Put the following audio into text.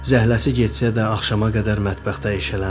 Zəhləsi getsə də axşama qədər mətbəxdə eşələndi.